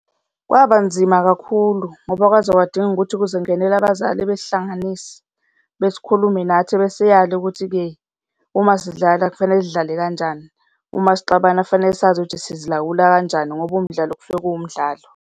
Kwaba nzima kakhulu ngoba kwaze kwadinga ukuthi kuze kungenele abazali besihlanganise, besikhulume nathi besiyale ukuthi-ke uma sidlala kufanele sidlale kanjani, uma sixabana kufanele sazi ukuthi sizilawula kanjani ngoba umdlalo kusuke kuwumdlalo.